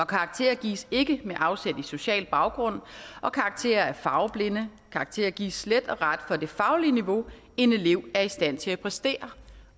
karakterer gives ikke med afsæt i social baggrund og karakterer er farveblinde karakterer gives slet og ret for det faglige niveau en elev er i stand til at præstere